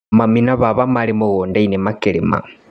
Mami na baba marĩ mũgundainĩ makĩrĩmĩra.